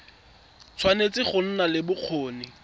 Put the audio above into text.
tshwanetse go nna le bokgoni